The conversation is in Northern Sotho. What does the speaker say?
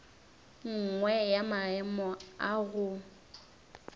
nngwe ya maemo a go